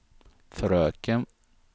fröken